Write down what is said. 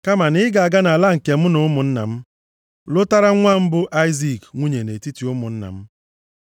Kama na ị ga-aga nʼala nke m na ụmụnna m lụtara nwa m, bụ Aịzik, nwunye nʼetiti ụmụnna m.”